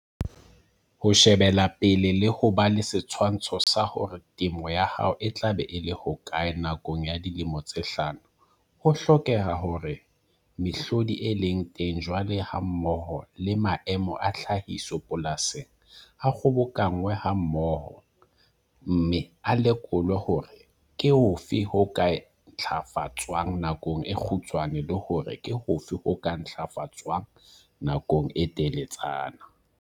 Ho shebela pele le ho ba le setshwantsho sa hore temo ya hao e tla be e le hokae nakong ya dilemo tse hlano ho hlokeha hore mehlodi e leng teng jwale hammoho le maemo a tlhahiso polasing a kgobokanngwe hammoho, mme a lekolwe hore ke hofe ho ka ntlafatswang nakong e kgutshwane le hore ke hofe ho ka ntlafatswang nakong e teletsana.